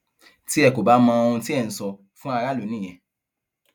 tí ẹ kò bá mọ ohun tí ẹ ń sọ fún aráàlú nìyẹn